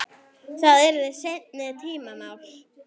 Það yrði seinni tíma mál.